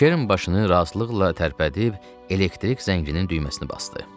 Kerrin başını razılıqla tərpədib elektrik zənginin düyməsinə basdı.